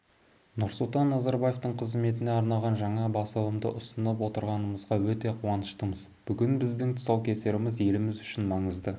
нұрсұлтан назарбаевтың қызметіне арналған жаңа басылымды ұсынып отырғанымызға өте қуаныштымыз бүгінгі біздің тұсаукесеріміз еліміз үшін маңызды